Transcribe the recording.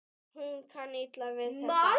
Hún kann illa við þetta.